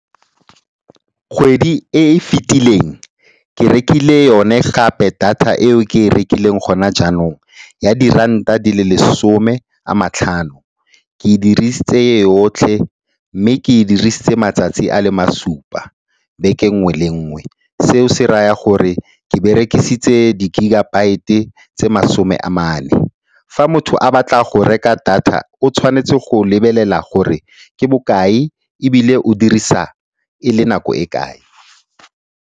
Kgwedi e e fetileng ke rekile yone gape data eo ke e rekileng gona jaanong ya diranta di le masome a matlhano. Ke e dirisitse yotlhe mme ke e dirisitse matsatsi a le masupa beke nngwe le nngwe. Seo se raya gore ke berekisitse di-gigabyte tse masome a mane. Fa motho a batla go reka data o tshwanetse go lebelela gore ke bokae ebile o dirisa e le nako e kae.